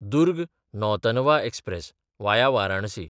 Durg Nautanwa express (via Varanasi)